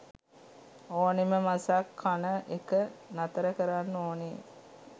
ඕනෙම මසක් කන එක නතර කරන්න ඕනෙ